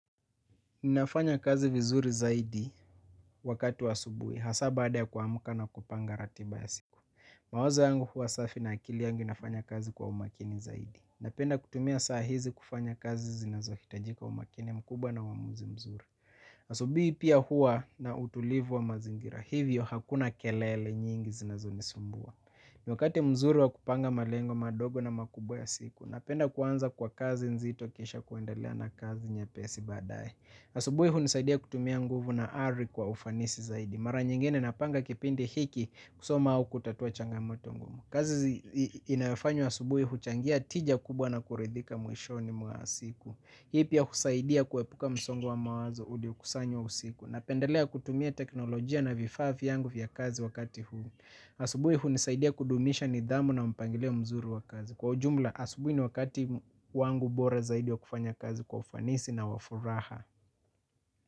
Ninafanya kazi vizuri zaidi wakati wa asubui, hasaa baada ya kuamuka na kupanga ratiba ya siku. Mawazo yangu hua safi na akili yangu inafanya kazi kwa umakini zaidi. Napenda kutumia saa hizi kufanya kazi zinazokitajika umakini mkubwa na waamuzi mzuri. Asubuhi pia huwa na utulivu wa mazingira na hivyo hakuna kelele nyingi zinazo nisumbua niwakati mzuri wa kupanga malengo madogo na makubwa ya siku, napenda kuanza kwa kazi nzito kisha kuendelea na kazi nyepesi badaye. Asubuhi hunisaidia kutumia nguvu na ari kwa ufanisi zaidi. Mara nyingine napanga kipindi hiki kusoma au kutatua changamoto ngumu. Kazi inayofanywa asubuhu changea tija kubwa na kuridhika mwishoni mwasiku. Hii pia kusaidia kuwepuka msongo wa mawazo ulio kusanywa usiku. Napendelea kutumia teknolojia na vifaa vyangu vya kazi wakati huu. Asubui hunisaidia kudumisha nidhamu na mpangilio mzuru wa kazi. Kwa jumla asubui ni wakati wangu bora zaidi wa kufanya kazi kwa ufanisi na wafuraha.